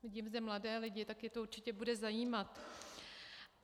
Vidím zde mladé lidi, je to určitě bude zajímat.